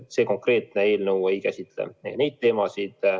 See konkreetne eelnõu ei käsitle neid teemasid.